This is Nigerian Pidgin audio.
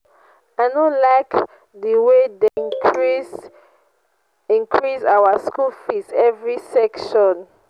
i no like the way dem dey increase increase our school fees every session